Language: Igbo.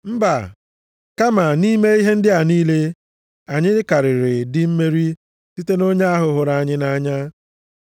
Mba, kama nʼime ihe ndị a niile, anyị karịrị ndị mmeri site nʼonye ahụ hụrụ anyị nʼanya.